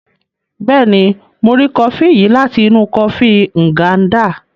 Béèni, Mo ri kọfi yìí láti inú ìgi kọfi Nganda